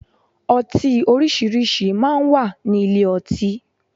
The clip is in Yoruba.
Ọtí orísìírísìí máa ń wà ní ilé ọtí.